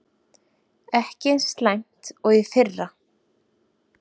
Ekki eins slæmt og í fyrra